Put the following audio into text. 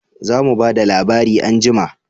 Za mu ba da labari anjima